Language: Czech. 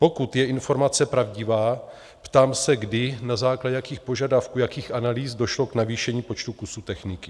Pokud je informace pravdivá, ptám se, kdy, na základě jakých požadavků, jakých analýz došlo k navýšení počtu kusů techniky.